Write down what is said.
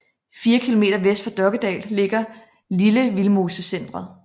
Fire kilometer vest for Dokkedal ligger Lille Vildmosecentret